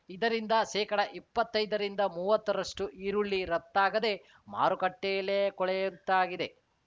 ಇದರಿಂದ ಶೇಕಡ ಇಪ್ಪತ್ತೈದರಿಂದ ಮೂವತ್ತರಷ್ಟುಈರುಳ್ಳಿ ರಫ್ತಾಗದೆ ಮಾರುಕಟ್ಟೆಯಲ್ಲೇ ಕೊಳೆಯುವಂತಾಗಿದೆ